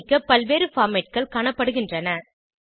சேமிக்க பல்வேறு formatகள் காணப்படுகின்றன